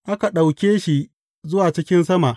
Aka ɗauke shi zuwa cikin sama.